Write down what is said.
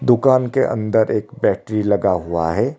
दुकान के अंदर एक बैटरी लगा हुआ है।